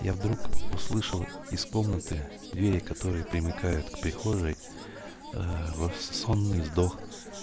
я вдруг услышал из комнаты двери которые примыкают к прихожей во в сонный сдох